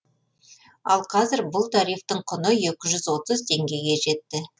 ал қазір бұл тарифтің құны екі жүз отыз теңгеге жетті